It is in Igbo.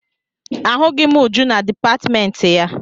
Ahụghị m Uju na dipatịmentị ya.